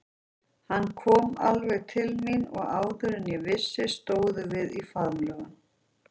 Hann kom alveg til mín og áður en ég vissi stóðum við í faðmlögum.